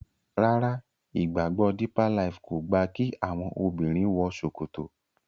Ràrá ìgbàgbọ deeper life kọ gba ki àwọn obìrin wò ṣòkòtò.